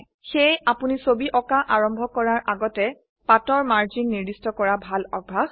সেয়ে আপোনি ছবি আঁকা আৰম্ভ কৰাৰ আগতে পাতৰ মাৰ্জিন নিৰ্দিষ্ট কৰা ভাল অভ্যাস